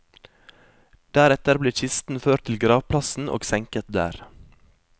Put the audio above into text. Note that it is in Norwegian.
Deretter blir kisten ført til gravplassen og senket der.